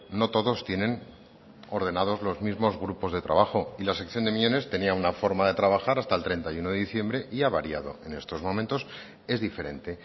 no todos tienen ordenador los mismos grupos de trabajo y la sección de miñones tenía una forma de trabajar hasta el treinta y uno de diciembre y ha variado en estos momentos es diferente